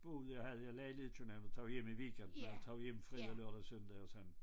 Boede jeg havde jeg lejlighed i København så tog jeg hjem i weekenden og jeg tog hjem fredag lørdag søndag og sådan